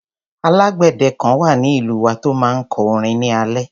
Alágbèdẹ kan wà ní ìlú wa tó máa ń kọ orin ní alẹ́.